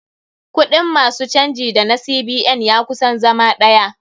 Kuɗin ma su canji da na CBN ya kusan zama ɗaya.